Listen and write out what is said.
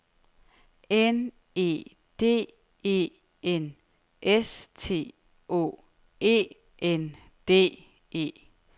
N E D E N S T Å E N D E